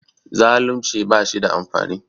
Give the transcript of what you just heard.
Zaalunci ba shi da amfani